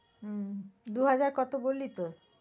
হম দুহাজার কত বললি তো।